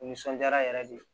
Nisɔndiyara yɛrɛ de